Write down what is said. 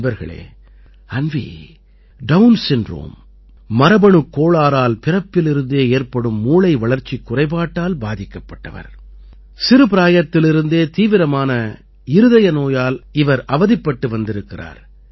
நண்பர்களே Anvi Down syndrome மரபணுக் கோளாறால் பிறப்பிலிருந்தே ஏற்படும் மூளை வளர்ச்சிக் குறைபாட்டால் பாதிக்கப்பட்டவர் சிறு பிராயத்திலிருந்தே தீவிரமான இருதய நோயால் இவர் அவதிப்பட்டு வந்திருக்கிறார்